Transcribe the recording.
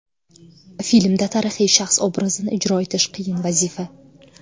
Filmda tarixiy shaxs obrazini ijro etish qiyin vazifa.